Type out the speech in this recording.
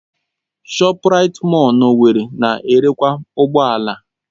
ShopRite mọll na owerri na-erekwa ụgbọ ala.